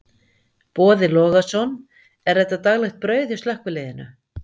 Boði Logason: Er þetta daglegt brauð hjá slökkviliðinu?